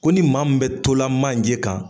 Ko ni maa min tola manje kan